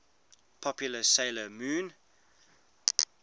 popular 'sailor moon